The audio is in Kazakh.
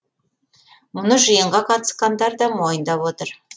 мұны жиынға қатысқандар да мойындап отыр